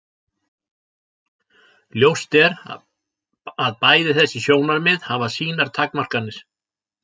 Ljóst er að bæði þessi sjónarmið hafa sínar takmarkanir.